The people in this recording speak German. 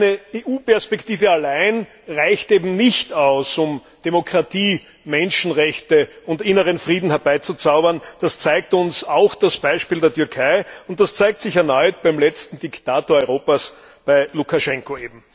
Eine EU Perspektive allein reicht eben nicht aus, um Demokratie, Menschenrechte und inneren Frieden herbeizuzaubern, das zeigt uns auch das Beispiel der Türkei, und das zeigt sich erneut beim letzten Diktator Europas, bei Lukaschenko.